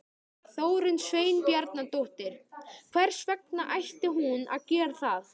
Þórunn Sveinbjarnardóttir: Hvers vegna ætti hún að gera það?